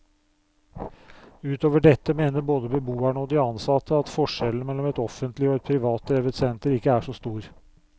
Utover dette mener både beboerne og de ansatte at forskjellen mellom et offentlig og et privatdrevet senter ikke er så stor.